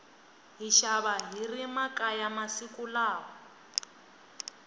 hi xava hiri makaya masiku lawa